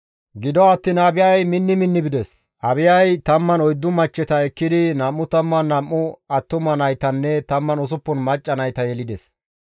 Gido attiin Abiyay minni minni bides. Abiyay 14 machcheta ekkidi 22 attuma naytanne 16 macca nayta yelides.